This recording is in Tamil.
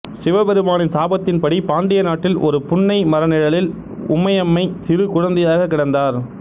சிவபெருமானின் சாபத்தின் படி பாண்டிய நாட்டில் ஒரு புன்னை மரநிழலில் உமையம்மை சிறுகுழந்தையாகக் கிடந்தார்